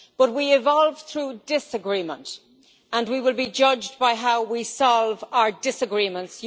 But we evolved through disagreement, and we will be judged by how we solve our disagreements.